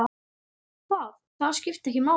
Það, það skiptir ekki máli?